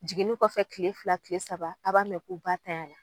Jiginni kɔfɛ tile fila tile saba a' b'a mɛ ko ba tayana